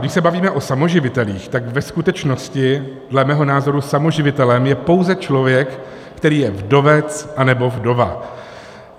Když se bavíme o samoživitelích, tak ve skutečnosti dle mého názoru samoživitelem je pouze člověk, který je vdovec anebo vdova.